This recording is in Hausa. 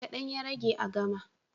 Kaɗan ya rage a gama.